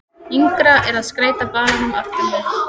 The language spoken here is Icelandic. Yngra er að skeyta balanum aftan við.